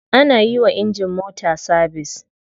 Ana yiwa injin mota sabise.